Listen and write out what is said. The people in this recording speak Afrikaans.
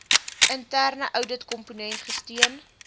interne ouditkomponent gesteun